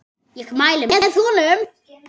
Ég mæli með honum.